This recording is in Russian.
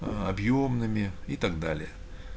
аа объёмными и так далее